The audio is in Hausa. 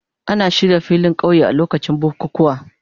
Ana shirya filin kauye a lokacin bukukuwa.